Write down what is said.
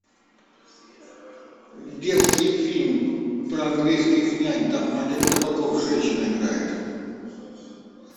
детский фильм про английских нянь там олег табаков женщину играет